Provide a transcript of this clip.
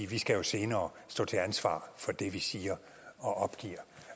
vi skal jo senere stå til ansvar for det vi siger og opgiver